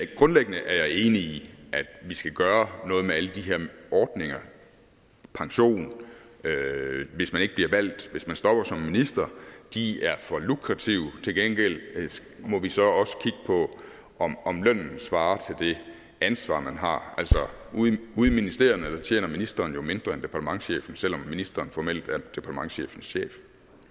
grundlæggende er jeg enig i at vi skal gøre noget med alle de her ordninger pension hvis man ikke bliver valgt hvis man stopper som minister de er for lukrative til gengæld må vi så også kigge på om om lønnen svarer til det ansvar man har ude i ministerierne tjener ministeren jo mindre end departementschefen selv om ministeren formelt er departementschefens chef